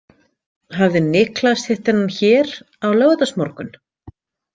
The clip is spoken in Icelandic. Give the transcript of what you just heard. Hafði Niklas hitt þennan hér á laugardagsmorgun?